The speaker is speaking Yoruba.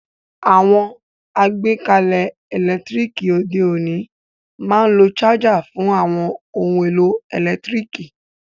Àwon àgbékalẹ̀ ẹ́lẹ̀ntirikì òde ọ̀ní ma n lo charger fun àwon oun èlò ẹ́lẹ̀ntirikì